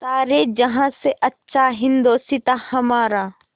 सारे जहाँ से अच्छा हिन्दोसिताँ हमारा